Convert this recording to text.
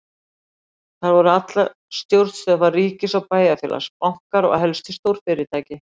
Þar voru allar stjórnstöðvar ríkis og bæjarfélags, bankar og helstu stórfyrirtæki.